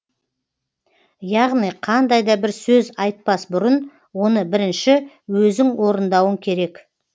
яғни қандай да бір сөз айтпас бұрын оны бірінші өзің орындауың керек